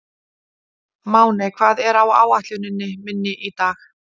Máney, hvað er á áætluninni minni í dag?